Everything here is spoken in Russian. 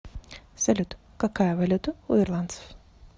салют какая валюта у ирландцев